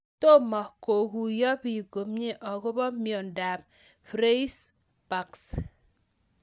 Tomo kokuyo piik komie akopo miondo ap Freiberg's